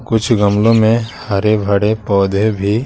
कुछ गमलों में हरे-भड़े पौधे भी--